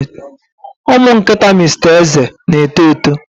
Ụmụ nkịta Mr Eze na-eto eto.